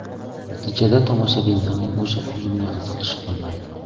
Natijada tomoshabinlarning o‘sha filmga qiziqishi qolmaydi.